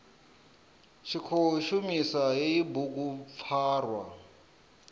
tshi khou shumisa hei bugupfarwa